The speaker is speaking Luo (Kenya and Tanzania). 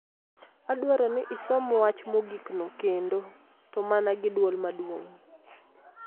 Adwaro ni isom wach mogikno kendo, to mana gi dwol maduong '.